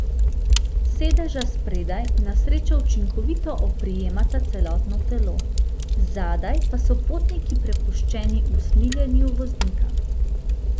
Sedeža spredaj na srečo učinkovito oprijemata celotno telo, zadaj pa so potniki prepuščeni usmiljenju voznika.